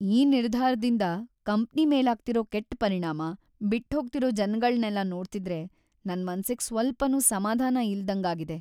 ಈ ನಿರ್ಧಾರ್‌ದಿಂದ ಕಂಪ್ನಿ ಮೇಲಾಗ್ತಿರೋ ಕೆಟ್ಟ್ ಪರಿಣಾಮ, ಬಿಟ್ಹೋಗ್ತಿರೋ ಜನಗಳ್ನೆಲ್ಲ ನೋಡ್ತಿದ್ರೆ ನನ್‌ ಮನ್ಸಿಗ್‌ ಸ್ವಲ್ಪನೂ ಸಮಾಧಾನ ಇಲ್ದಂಗಾಗಿದೆ.